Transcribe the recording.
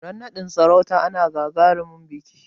Ran naɗin sarauta ana gagarumin biƙi